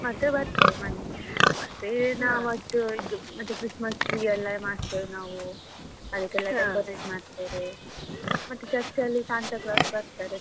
ಮತ್ತೆ ಬರ್ತೇವೆ ಮನೆಗೆ, ಮತ್ತೆ ನಾವಷ್ಟೂ ಇದು ಮತ್ತೆ Christmas tree ಎಲ್ಲ ಮಾಡ್ತೇವೆ ನಾವು ಅದಕೆಲ್ಲ decorate ಮಾಡ್ತೇವೆ ಮತ್ತೆ church ಅಲ್ಲಿ Santa Claus ಬರ್ತಾರೆ.